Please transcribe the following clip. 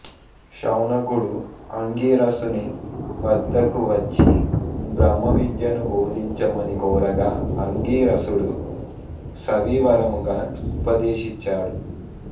శౌనకుడు అంగిరసుని వద్దకు వచ్చి బ్రహ్మ విద్యను బోధించమని కోరగా అంగిరసుడు సవివరముగా ఉపదేశిచాడు